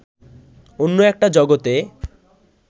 অন্য একটা জগতে